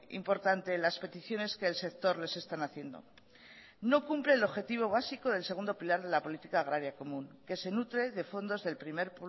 importante las peticiones que el sector les están haciendo no cumple el objetivo básico del segundo pilar de la política agraria común que se nutre de fondos del primer